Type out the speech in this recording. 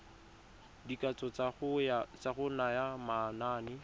dikatso tsa go naya manane